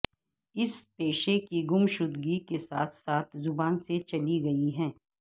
اس پیشے کی گمشدگی کے ساتھ ساتھ زبان سے چلی گئی ہے